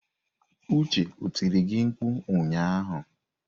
Uche ọ tiri gị mkpụ ụnyahụ?